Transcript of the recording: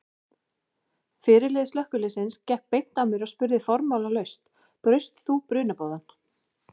Fyrirliði slökkviliðsins gekk beint að mér og spurði formálalaust: Braust þú brunaboðann?